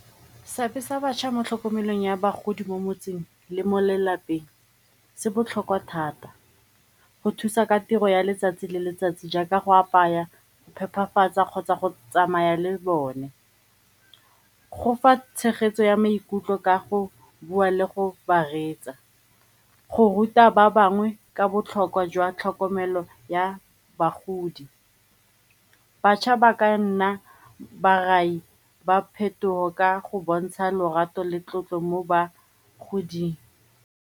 Seabe sa batjha mo tlhokomelong ya bagodi mo motseng le mo lelapeng se botlhokwa thata, go thusa ka tiro ya letsatsi le letsatsi jaaka go apaya, phephafatsa kgotsa go tsamaya le bone. Go fa tshegetso ya maikutlo ka go bua le go ba reetsa, go ruta ba bangwe ka botlhokwa jwa tlhokomelo ya bagodi. Batjha ba ka nna barai ba phetogo ka go bontsha lorato le tlotlo mo bagoding.